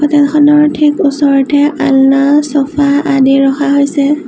Hotel খনৰ ঠিক ওচৰতে অলনা ছ'ফা আদি ৰখা হৈছে।